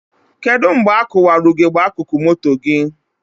Kedụ mgbe a kụwara ugegbe akụkụ moto gị?